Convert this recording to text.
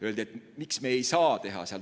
Räägiti, miks me ei saa seda teha.